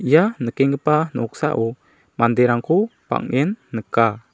ia nikenggipa noksao manderangko bang·en nika.